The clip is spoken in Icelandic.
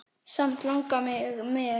Samt langar mig með.